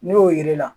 N'o ye